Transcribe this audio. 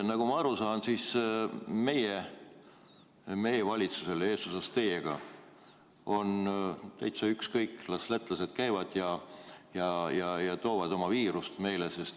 Nagu ma aru saan, siis meie valitsusele eesotsas teiega on täitsa ükskõik: las lätlased käivad üle piiri ja toovad oma viirust meile.